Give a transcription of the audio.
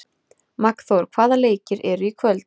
Magnþór, hvaða leikir eru í kvöld?